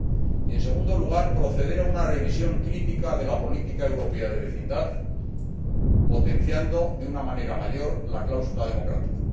Y, en segundo lugar, proceder a una revisión crítica de la política europea de vecindad potenciando de una manera mayor la cláusula democrática.